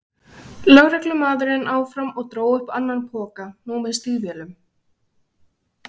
lögreglumaðurinn áfram og dró upp annan poka, nú með stígvélum.